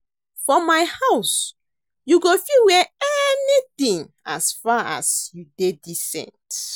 For my house you go fit wear anything as far, as you dey decent